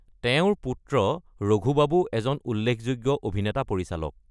তেওঁৰ পুত্ৰ ৰঘু বাবু এজন উল্লেখযোগ্য অভিনেতা-পৰিচালক।